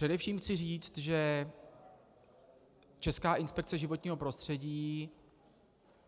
Především chci říct, že Česká inspekce životního prostředí